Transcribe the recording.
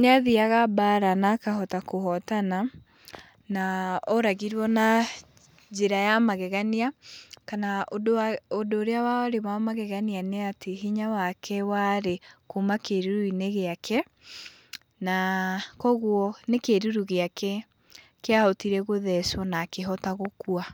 nĩathiaga mbara na akahota kũhotana, na oragirwo na njĩra ya magegania kana ũndũ ũrĩa warĩ wa magegania nĩ atĩ hinya wake warĩ kuma kĩruru-inĩ gĩake, na kogwo nĩ kĩruru gĩake kĩahotire gũthecwo na akĩhota gũkua.